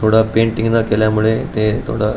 पुढ पेंटिंग न केल्यामुळे ते थोड --